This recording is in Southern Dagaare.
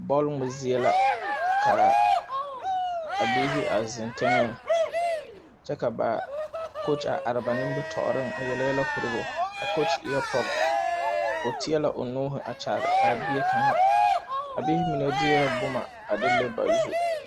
Bɔl ngmɛ zie la kaa a biihi a zeŋ teŋɛŋ kyɛ ka ba kooge a are ba nimitooreŋ a yele yɛlɛ korɔ ba a kooge eɛɛ pɔg o teɛ la o nuuhi kyaare a bie kaŋa a biihi mine deɛɛ bomma a de le ba zu.